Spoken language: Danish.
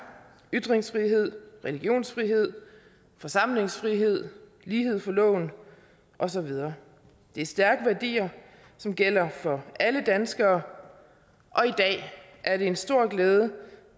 ytringsfrihed religionsfrihed forsamlingsfrihed lighed for loven og så videre det er stærke værdier som gælder for alle danskere og i dag er det en stor glæde